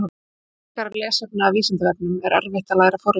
Frekara lesefni af Vísindavefnum: Er erfitt að læra forritun?